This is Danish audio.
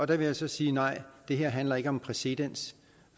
det vil jeg så sige nej det handler ikke om præcedens